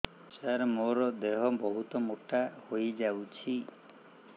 ସାର ମୋର ଦେହ ବହୁତ ମୋଟା ହୋଇଯାଉଛି